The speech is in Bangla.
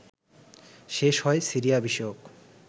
শেষ হয় সিরিয়া বিষয়ক